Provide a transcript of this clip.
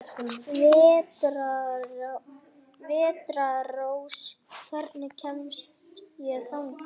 Vetrarrós, hvernig kemst ég þangað?